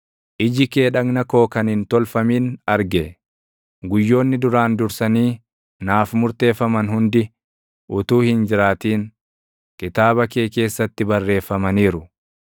iji kee dhagna koo kan hin tolfamin arge. Guyyoonni duraan dursanii naaf murteeffaman hundi // utuu hin jiraatin, kitaaba kee keessatti barreeffamaniiru.